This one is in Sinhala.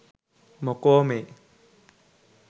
මොකෝ මේ